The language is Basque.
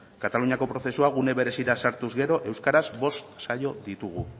kataluniako prozesua gune berezira sartuz gero euskaraz bost saio ditugu